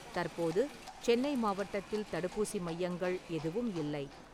தற்போது சென்னை மாவட்டத்தில் தடுப்பூசி மையங்கள் எதுவும் இல்லை